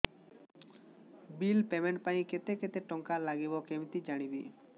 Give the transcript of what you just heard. bill payment ପାଇଁ କେତେ କେତେ ଟଙ୍କା ଲାଗିବ କେମିତି ଜାଣିବି